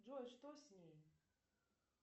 джой что с ней